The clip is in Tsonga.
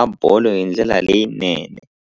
a bolo hi ndlela leyinene.